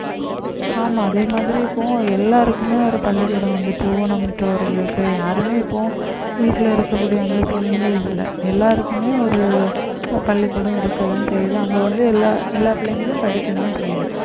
ஆமா அதே மாதிரி இப்போ எல்லாருக்குமே ஒரு பள்ளிக்கூடம் வந்திட்டு ஊனமுற்றோர்களுக்கு யாருமே இப்போ வீட்டிலே இருக்கக்கூடிய அந்த சூழ்நிலை இல்லை எல்லாருக்குமே ஒரு பள்ளிக்கூடம் இருக்கத்தான் செய்யுது அங்க வந்து எல்லா எல்லா பிள்ளைங்களும் படிக்கதான் செய்யுது